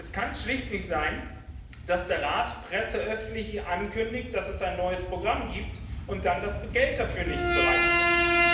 Es kann schlicht nicht sein, dass der Rat presseöffentlich ankündigt, dass es ein neues Programm gibt, und dann das Geld dafür nicht bereitstellt!